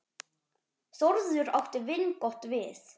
Þórður átti vingott við.